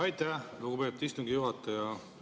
Aitäh, lugupeetud istungi juhataja!